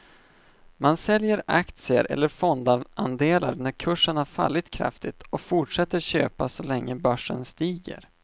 Man säljer aktier eller fondandelar när kurserna har fallit kraftigt och fortsätter köpa så länge börsen stiger.